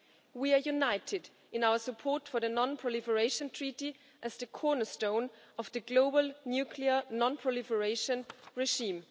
We are united in our support for the non proliferation treaty as the cornerstone of the global nuclear non proliferation regime.